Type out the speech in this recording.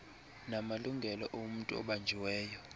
namalungelo omntu obanjiweyo